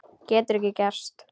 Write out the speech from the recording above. Getur ekki gerst.